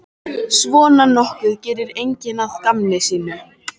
Svona nokkuð gerir enginn að gamni sínu.